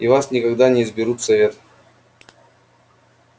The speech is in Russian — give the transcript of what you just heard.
и вас никогда не изберут в совет